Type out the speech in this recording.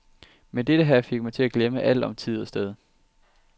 Men dette her fik mig til at glemme alt om tid og sted.